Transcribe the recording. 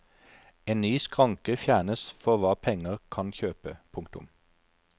En ny skranke fjernes for hva penger kan kjøpe. punktum